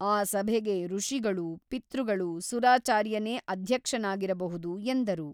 ಆ ಸಭೆಗೆ ಋಷಿಗಳೂ ಪಿತೃಗಳೂ ಸುರಾಚಾರ್ಯನೇ ಅಧ್ಯಕ್ಷನಾಗಿರ ಬಹುದು ಎಂದರು.